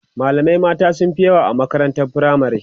malamai mata sunfi yawa a makarantar firamare